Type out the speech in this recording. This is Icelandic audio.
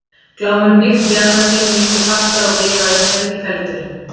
Glámur hnykkti í annað sinn miklu fastara og bifaðist hvergi feldurinn.